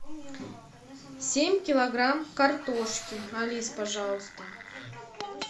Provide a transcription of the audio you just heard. семь килограмм картошки алис пожалуйста